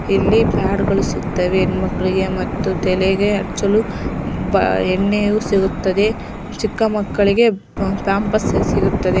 ಇಲ್ಲಿ ಪ್ಯಾಡಗಳು ಸಿಗುತ್ತವೆ ಹೆಣ್ಣುಮಕ್ಕಳಿಗೆ ಮತ್ತು ತಲೆಗೆ ಹಚ್ಚಲು ಬಾ ಎಣ್ಣೆಯು ಸಿಗುತ್ತದೆ ಚಿಕ್ಕಮಕ್ಕಳಿಗೆ ಪಾಂಪೆರ್ಸ್ ಸಿಗುತ್ತವೆ .